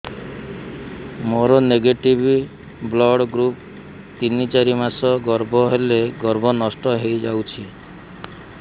ମୋର negative blood group ତିନ ଚାରି ମାସ ଗର୍ଭ ହେଲେ ଗର୍ଭ ନଷ୍ଟ ହେଇଯାଉଛି